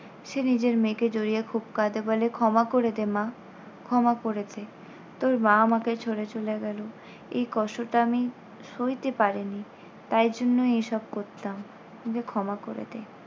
সে নিজের মেয়েকে জড়িয়ে খুব কাঁদে, বলে ক্ষমা করে দে মা, ক্ষমা করে দে। তোর মা আমাকে ছোড়ে চলে গেল এ কষ্টটা আমি সইতে পারিনি। তাই জন্য এসব করতাম। বলে ক্ষমা করে দে।